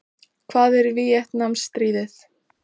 Hvað er Víetnamstríðið?